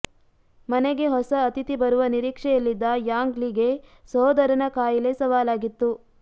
ಮನೆಗೆ ಹೊಸ ಅತಿಥಿ ಬರುವ ನಿರೀಕ್ಷೆಯಲ್ಲಿದ್ದ ಯಾಂಗ್ ಲಿ ಗೆ ಸಹೋದರನ ಖಾಯಿಲೆ ಸವಾಲಾಗಿತ್ತು